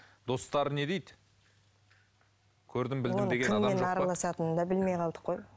достары не дейді көрдім білдім кіммен араласатынын да білмей қалдық қой